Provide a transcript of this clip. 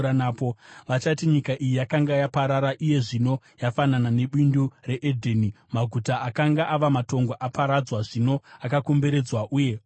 Vachati, “Nyika iyi yakanga yaparara iye zvino yafanana nebindu reEdheni; maguta akanga ava matongo aparadzwa, zvino akomberedzwa uye ogarwa.”